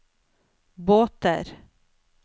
båter